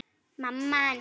Afi reddaði því.